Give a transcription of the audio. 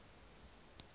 ramolodi